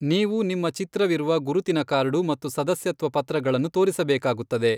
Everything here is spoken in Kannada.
ನೀವು ನಿಮ್ಮ ಚಿತ್ರವಿರುವ ಗುರುತಿನ ಕಾರ್ಡು ಮತ್ತು ಸದಸ್ಯತ್ವ ಪತ್ರಗಳನ್ನು ತೋರಿಸಬೇಕಾಗುತ್ತದೆ.